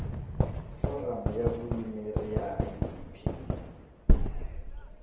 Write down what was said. foramu ya vuyimeri ya idp